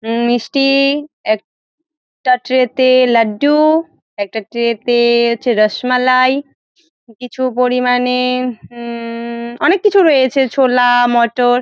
উম মিস্টি-ই এক -টা ট্রে -তে লাড্ডু-উ একটা ট্রে -তে হচ্ছে রসমালাই কিছু পরিমানে উম-মম অনেক কিছু রয়েছে ছোলা মোটর ।